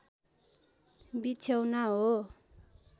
बिछ्यौना हो